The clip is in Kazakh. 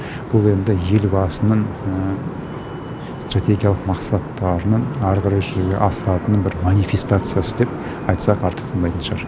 бұл енді елбасының стратегиялық мақсаттарының әрі қарай жүзеге асатынының бір манифестациясы деп айтсақ артық болмайтын шығар